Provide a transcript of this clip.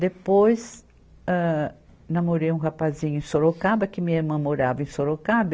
Depois, âh, namorei um rapazinho em Sorocaba, que minha irmã morava em Sorocaba.